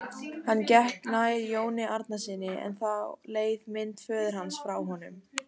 Hann gekk nær Jóni Arasyni en þá leið mynd föður hans frá honum.